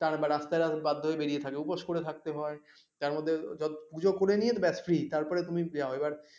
তার রাস্তায় বাধ্য হয়ে বেরিয়ে থাকে উপোস করে থাকতে হয়, তার মধ্যে যত পুজো করে নিয়ে ব্যাস ফ্রি তারপরে তুমি যাও এইবার,